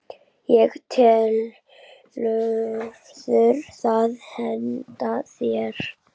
og telurðu það henta þér?